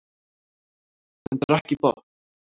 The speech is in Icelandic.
Hann drakk í botn.